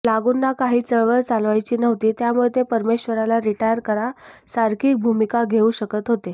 लागूंना काही चळवळ चालवायची नव्हती त्यामुळे ते परमेश्वराला रिटायर करा सारखी भुमिका घेउ शकत होते